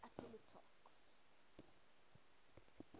appomattox